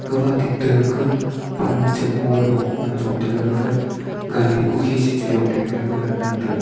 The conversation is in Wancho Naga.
gawa tik ta ku pan che kolo ngan chong tega gafa gari kukhi sechong le ngan tega.